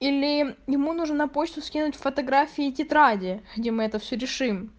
или ему нужно на почту скинуть фотографии тетради где мы это все решим